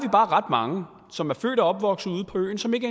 ret mange som er født og opvokset ude på øen som ikke